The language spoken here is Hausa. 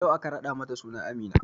Yau aka raɗa mata suna Amina